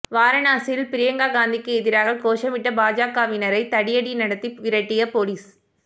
வாரணாசியில் பிரியங்கா காந்திக்கு எதிராக கோஷமிட்ட பாஜகவினரை தடியடி நடத்தி விரட்டிய போலீஸ்